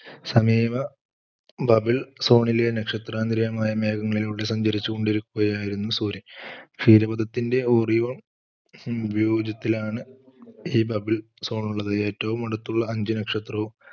സമീപ bable zone ലെ നക്ഷത്രാന്തിര്യമായ മേഘങ്ങളിലൂടെ സഞ്ചരിച്ചുകൊണ്ടിരിക്കുകയായിരുന്നു സൂര്യൻ. ക്ഷീരപദത്തിന്റെ oriyon ഉപയോഗത്തിലാണ് ഈ bable zone ഉള്ളത് ഏറ്റവും അടുത്തുള്ള അഞ്ച് നക്ഷത്രവും